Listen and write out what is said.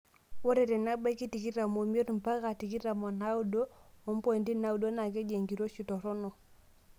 Ore tenebaiki tikitam omoit mpaka tikitam onaaudo ompointi naaudo naa keji enkiroshi toronok.